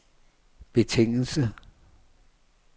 betingelse